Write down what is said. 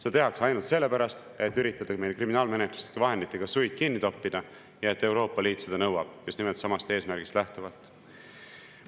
Seda tehakse ainult sellepärast, et üritada meil kriminaalmenetluslike vahenditega suid kinni toppida ja et Euroopa Liit seda nõuab, just nimelt samast eesmärgist lähtuvalt.